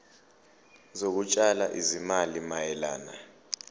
zokutshala izimali mayelana